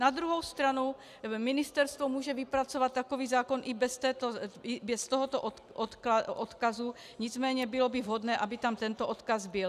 Na druhou stranu ministerstvo může vypracovat takový zákon i bez tohoto odkazu, nicméně bylo by vhodné, aby tam tento odkaz byl.